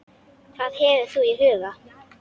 Hvað hefur þú í huga?